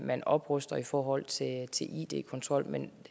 man opruster i forhold til id kontrol men